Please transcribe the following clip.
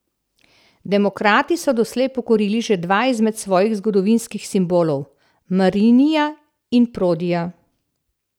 Demokrati so doslej pokurili že dva izmed svojih zgodovinskih simbolov, Marinija in Prodija.